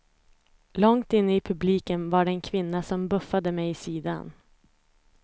Långt inne i publiken var det en kvinna som buffade mig i sidan.